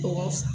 Tɔgɔ s